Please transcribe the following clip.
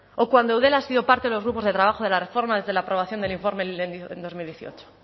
o cuando eudel ha sido parte de los grupos de trabajo de la reforma desde la aprobación del informe en dos mil dieciocho